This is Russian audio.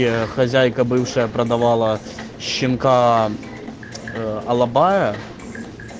ээ хозяйка бывшая продавала щенка ээ алабая